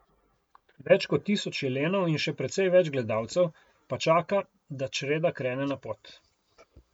Več kot tisoč jelenov in še precej več gledalcev pa čaka, da čreda krene na pot.